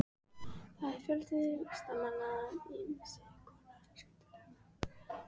Þar er fjöldi listamanna, ýmiss konar skemmtiatriði, kampavín og dans.